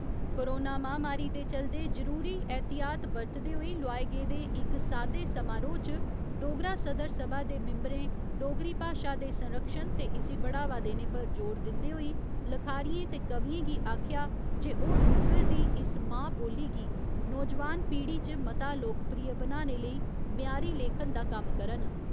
Corona महामारी दे चलदे जरुरी एह्‌तियात बरतदे होई लोआए गेदे इक सादे समारोह च डोगरा सदर सभा दे मिम्ब'रें डोगरी भाशा दे संरक्षण ते इसी बढ़ावा देने पर जोर दिंदे होई लखारियें ते कवियें गी आखेआ जे ओह् डुग्गर दी इस मां बोली गी नोजवान पीढ़ी च मता लोकप्रिय बनाने लेई म्यारी लेखन दा कम्म करन।